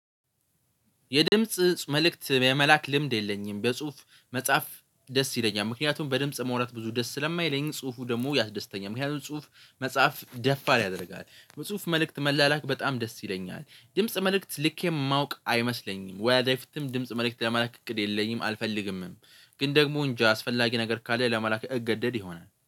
የድምጽ መልእክት የመላክ ልምድ የለኝም በጽሁፍ መጽሐፍ ደስ ይለኛል ምክንያቱም በድምጽ ማውራት ብዙ ደስ ስለማይለኝ ጽሁፉ ደግሞ ያስደስተኛል ምክንያቱም ጽሁፍ መጽሐፍ ደፋር ያደርጋል። በጽሁፍ መልእክት መላላክ በጣም ደስ ይለኛል። ድምጽ መልእክት ልኬ የማውቅ አይመስለኝም። ወደፊትም ድምጽ መልእክት ለመላክ እቅድ የለኝም አልፈልግምም። ግን ደግሞ እንጃ አስፈላጊ ነገር ካለ ለመላእክ እገደድ ይሆናል